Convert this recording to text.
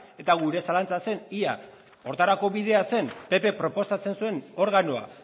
eta gure zalantza zen ea horretarako bidea zen ppk proposatzen zuen organoa